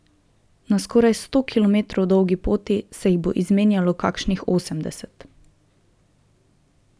Na skoraj sto kilometrov dolgi poti se jih bo izmenjalo kakšnih osemdeset.